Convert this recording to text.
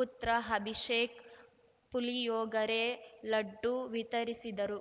ಪುತ್ರ ಅಭಿಷೇಕ್‌ ಪುಳಿಯೊಗರೆ ಲಡ್ಡು ವಿತರಿಸಿದರು